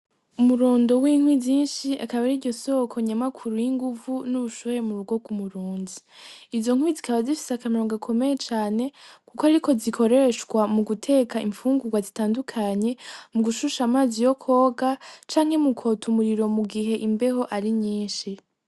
Umurundo w'inkwi zinshi akaba ariryo soko nyamakuru y'inguvu n'ubushuhe mu rugo rw'umurundi. Izo nkwi zikaba zifise akamaro gakomeye cane, kuko ariko zikoreshwa mu guteka imfungurwa zitandukanye, mu gushusha amazi yo kwoga, canke mu kwota umuriro mugihe imbeho ari nyinshi.